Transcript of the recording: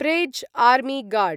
praise army guard